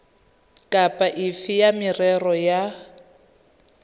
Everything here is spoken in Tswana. kapa efe ya merero ya